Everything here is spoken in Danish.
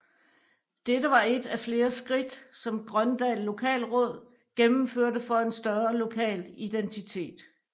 Dette var et af flere skridt som Grøndal Lokalråd gennemførte for en større lokal identitet